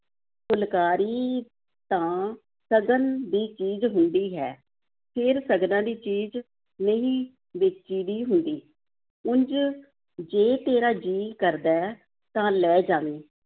ਫੁਲਕਾਰੀ ਤਾਂ ਸਗਨ ਦੀ ਚੀਜ਼ ਹੁੰਦੀ ਹੈ, ਫੇਰ ਸਗਨਾਂ ਦੀ ਚੀਜ਼ ਨਹੀਂ ਵੇਚੀ ਦੀ ਹੁੰਦੀ, ਉਂਞ ਜੇ ਤੇਰਾ ਜੀਅ ਕਰਦਾ ਹੈ ਤਾਂ ਲੈ ਜਾਵੀਂ